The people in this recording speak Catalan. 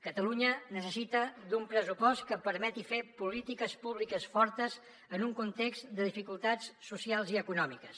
catalunya necessita un pressupost que permeti fer polítiques públiques fortes en un context de dificultats socials i econòmiques